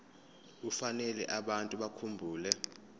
kufanele abantu bakhumbule